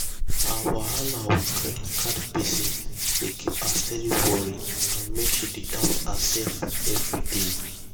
her wahala with credit card gbese dey give her steady worry and make she dey doubt herself every day.